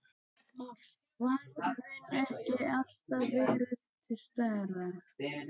Og værðin ekki alltaf verið til staðar.